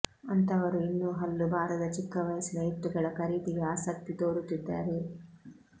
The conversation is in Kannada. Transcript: ಅಂಥವರು ಇನ್ನೂ ಹಲ್ಲು ಬಾರದ ಚಿಕ್ಕ ವಯಸ್ಸಿನ ಎತ್ತುಗಳ ಖರೀದಿಗೆ ಆಸಕ್ತಿ ತೋರುತ್ತಿದ್ದಾರೆ